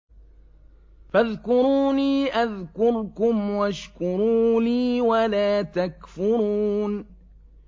فَاذْكُرُونِي أَذْكُرْكُمْ وَاشْكُرُوا لِي وَلَا تَكْفُرُونِ